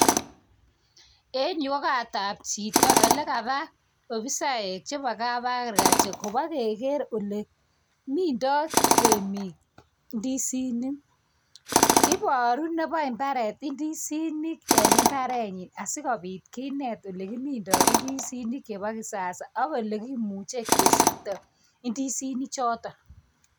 En yu ko kot ab chito ole kaba ofisaek che ba kab Agriculture koba keker ole minda temik indisinik, ibaru neba imbaret ndisinik en mbaret nyin asikobit kinet ole kiminda indisinik chebo kisasa ak ole kimuche kesikto indisink choto.